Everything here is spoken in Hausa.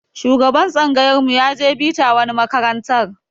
Shugaban tsangayar mu ya je bita wani makarantar